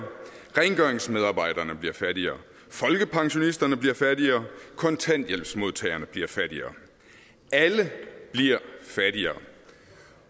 rengøringsmedarbejderne bliver fattigere folkepensionisterne bliver fattigere kontanthjælpsmodtagerne bliver fattigere alle bliver fattigere